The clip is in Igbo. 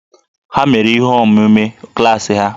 Ha mere ihe omume klaasị ha